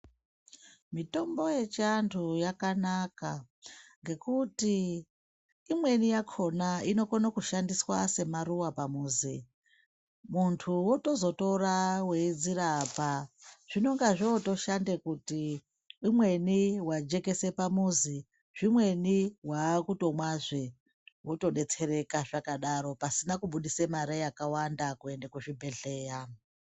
Mitombo yechiantu yakanaka, ngekuti imweni yakona inokona kushandiswa semaruwa pamuzi, muntu wotozotora weyi dzirapa, zvinonga zvotoshande kuti umweni wajekesa pamuzi, zvimweni wakutomwazve wotodetsereka zvakadaro pasina kubudisa mari yakawanda kuenda kuzvibhedhleya.